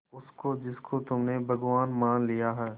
उसको जिसको तुमने भगवान मान लिया है